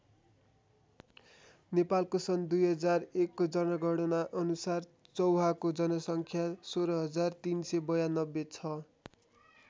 नेपालको सन् २००१ को जनगणना अनुसार चौहाको जनसङ्ख्या १६३९२ छ।